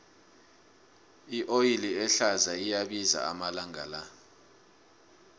ioli ehlaza iyabiza amalanga la